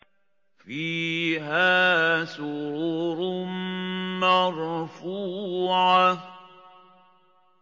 فِيهَا سُرُرٌ مَّرْفُوعَةٌ